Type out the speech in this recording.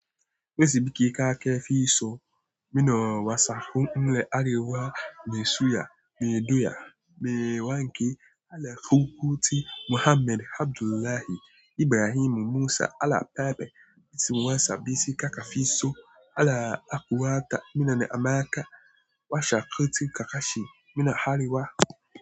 Wesi biki akafi so mina wasaku nle arewa mesuya meduya mewanke alafukuti Muhammad Abdullahi Ibrahim Musa alapabe itimuwasabisi kaka fiso ala akuwata minen amaka washakutu kakashi mina hariwa.